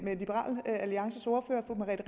liberal alliances ordfører fru merete